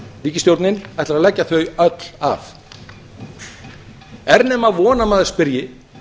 ríkisstjórnin ætlar að leggja þau öll af er nema von að maður spyrji